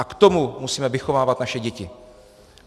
A k tomu musíme vychovávat naše děti.